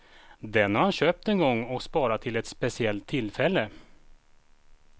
Den har han köpt en gång och sparat till ett speciellt tillfälle.